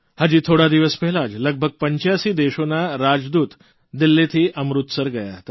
હજી થોડા દિવસ પહેલાં જ લગભગ 85 દેશોના રાજદૂત દિલ્હીથી અમૃતસર ગયા હતા